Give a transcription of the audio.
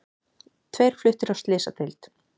Tveir fluttir á slysadeild